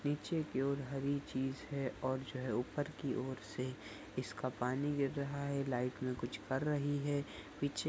पीछे की और हरी चीज़ है और जो है की और से इसका पानी गिर रहा है। लाईट में कुछ कर रही है। पीछे --